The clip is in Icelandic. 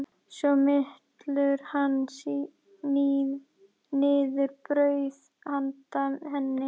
Svo mylur hann niður brauð handa henni.